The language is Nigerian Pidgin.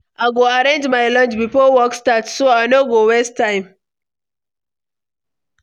I go arrange my lunch before work start, so I no go waste time.